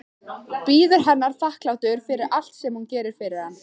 Bíður hennar þakklátur fyrir allt sem hún gerir fyrir hann.